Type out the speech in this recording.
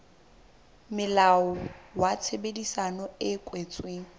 molao wa tshebedisano e kwetsweng